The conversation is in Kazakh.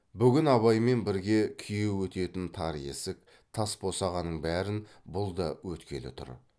бүгін абаймен бірге күйеу өтетін тар есік тас босағаның бәрін бұл да өткелі тұр